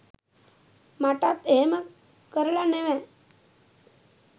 මටත් එහෙම කරල නෙව